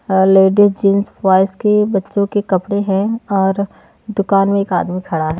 है ladies jeans boys के बच्चों के कपड़े हैं और दुकान में एक आदमी खड़ा है।